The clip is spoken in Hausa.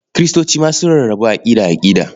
Kiristoci su ma sun rarrabu aƙida-aƙida.